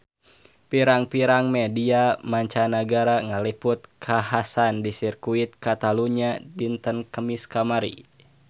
Pirang-pirang media mancanagara ngaliput kakhasan di Sirkuit Catalunya dinten Kemis kamari